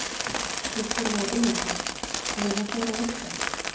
Kristján Már Unnarsson: Þannig að þetta er að virka?